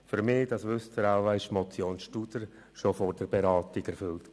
Für mich, das wissen Sie wohl, war die Motion Studer schon vor der Beratung erfüllt.